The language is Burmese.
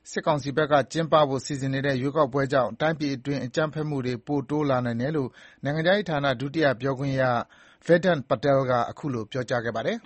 စစ်ကောင်စီဘက်က ကျင်းပဖို့ စီစဉ်နေတဲ့ ရွေးကောက်ပွဲကြောင့် တိုင်းပြည်အတွင်း အကြမ်းဖက်မှုတွေ ပိုတိုးလာနိုင်တယ်လို့ နိုင်ငံခြားရေးဌာန ဒုတိယပြောခွင့်ရ Vedant Patel က ခုလိုပြောကြားခဲ့ပါတယ်